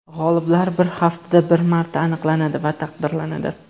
G‘oliblar bir haftada bir marta aniqlanadi va taqdirlanadi.